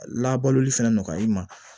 Labaloli fɛnɛ nɔgɔya i ma